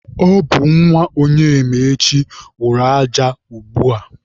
Ọ bụ nwa Onyemaechi wụrụ aja a ugbua.